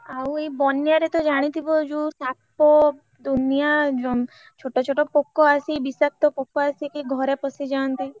ଆଉ ଏଇ ବନ୍ୟା ରେ ତ ଜାଣିଥିବ ଯୋଉ ସାପ ଦୁନିୟା ଜନ୍ତୁ ଛୋଟ ଛୋଟ ପୋକ ଆସି ବିଷାକ୍ତ ପୋକ ଆସିକି ଘରେ ପଶିଯାନ୍ତି।